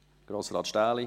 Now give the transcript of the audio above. Grossrat Stähli